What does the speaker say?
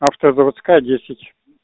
автозаводская десять